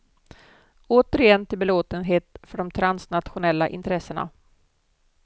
Återigen till belåtenhet för de transnationella intressena.